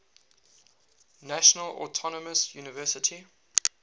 national autonomous university